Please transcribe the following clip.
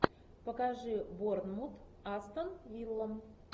покажи борнмут астон вилла